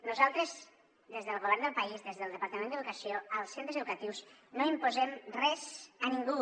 nosaltres des del govern del país des del departament d’educació als centres educatius no imposem res a ningú